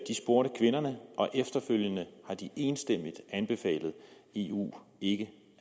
spurgte kvinderne og efterfølgende har de enstemmigt anbefalet eu ikke